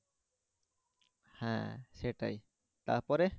হ্যাঁ সেটাই তারপরে